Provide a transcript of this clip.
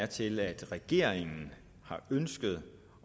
til at regeringen har ønsket